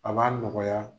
A b'a nɔgɔya